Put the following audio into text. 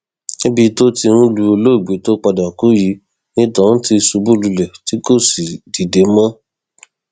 níbi tó ti ń lu olóògbé tó padà kú yìí ni tohun ti ṣubú lulẹ tí kò sì dìde mọ